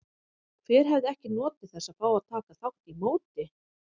Hver hefði ekki notið þess að fá að taka þátt í móti?